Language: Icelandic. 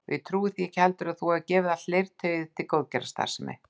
Og ég trúi ekki heldur að þú hafir gefið allt leirtauið til góðgerðarstarfsemi